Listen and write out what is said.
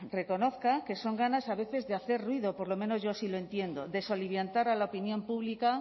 reconozca que son ganas a veces de hacer ruido por lo menos yo así lo entiendo de soliviantar a la opinión pública